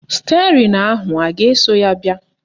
Stịerịn ahụ a ga-eso ya bịa?